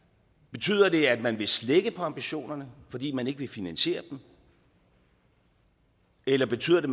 betyder det at man vil slække på ambitionerne fordi man ikke vil finansiere dem eller betyder det